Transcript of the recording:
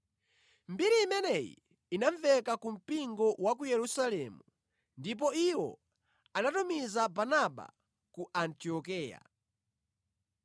Mbiri imeneyi inamveka ku mpingo wa ku Yerusalemu ndipo iwo anatumiza Barnaba ku Antiokeya.